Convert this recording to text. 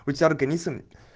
у тебя организм